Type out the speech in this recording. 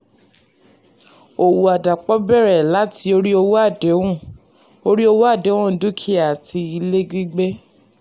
òwò àdàpọ̀ bẹ̀rẹ̀ láti orí owó àdéhùn orí owó àdéhùn dúkìá àti ilé gbígbé.